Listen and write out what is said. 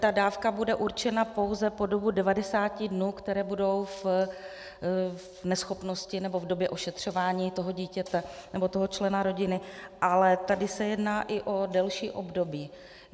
Ta dávka bude určena pouze po dobu 90 dnů, které budou v neschopnosti nebo v době ošetřování toho dítěte nebo toho člena rodiny, ale tady se jedná i o delší období.